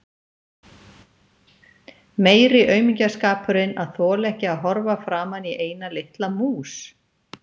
Meiri aumingjaskapurinn að þola ekki að horfa framan í eina litla mús!